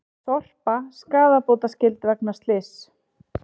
Sorpa skaðabótaskyld vegna slyss